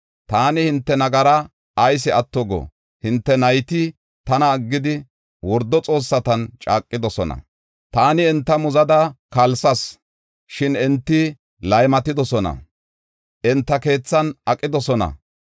“Taani hinte nagaraa ayis atto go? Hinte nayti tana aggidi, wordo xoossatan caaqidosona. Taani enta muzada kalsas, shin enti laymatidosona; enta keethan aqidosona.